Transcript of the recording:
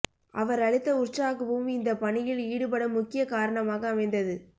அவர் அளித்த உற்சாகமும் இந்தப் பணியில் ஈடுபட முக்கியக் காரணமாக அமைந்தது